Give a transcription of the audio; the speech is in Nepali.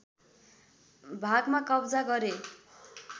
भागमा कब्जा गरे